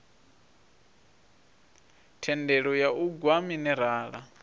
thendelo ya u gwa minerala